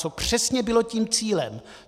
Co přesně bylo tím cílem.